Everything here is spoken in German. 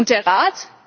und der